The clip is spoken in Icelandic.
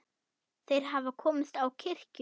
Þeir hafa komist á kirkju!